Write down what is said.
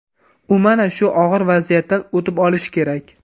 U mana shu og‘ir vaziyatdan o‘tib olishi kerak.